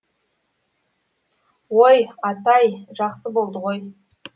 ой атай жақсы болды ғой